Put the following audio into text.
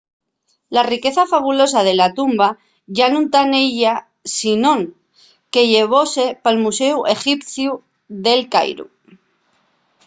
la riqueza fabulosa de la tumba yá nun ta nella sinón que llevóse pal muséu exipciu d'el cairu